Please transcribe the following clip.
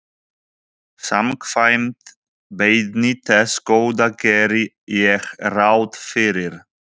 Samkvæmt beiðni þess Góða geri ég ráð fyrir.